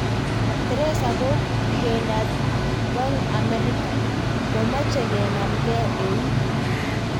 Theresa kokowendat kwang amerika, komache kenamng'e eut